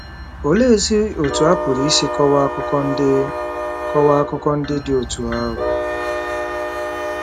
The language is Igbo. Oleezi otú a pụrụ isi kọwaa akụkọ ndị kọwaa akụkọ ndị dị otú a?